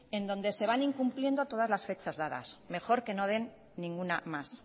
donde se van incumpliendo todas las fechas dadas mejor que no den ninguna más